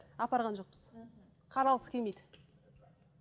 апарған жоқпыз қаралғысы келмейді